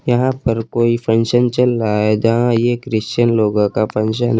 यहां पर कोई फंक्शन चल रहा है जहां ये क्रिश्चियन लोगों का फंक्शन है।